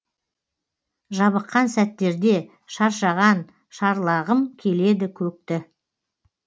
жабыққан сәттерде шаршаған шарлағым келеді көкті